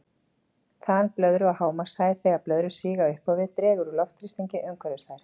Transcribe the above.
Þan blöðru og hámarkshæð Þegar blöðrur stíga upp á við dregur úr loftþrýstingi umhverfis þær.